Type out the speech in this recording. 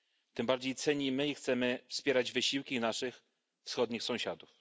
Tym bardziej cenimy i chcemy wspierać wysiłki naszych wschodnich sąsiadów.